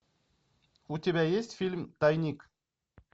у тебя есть фильм тайник